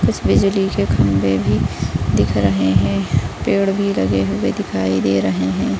कुछ बिजली के खम्भे भी दिख रहे हैं पेड़ भी लगे हुए दिखई दे रहे हैं।